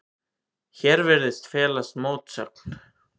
Hér virðist felast mótsögn.